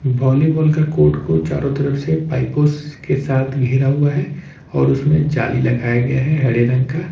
Volleyball का court को चारों तरफ से पाइपों के साथ घेरा गया हुआ है और उसमें जाली लगाया गया है हरे रंग का।